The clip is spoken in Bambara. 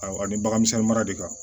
Awɔ ani bagan misɛnni mara de kan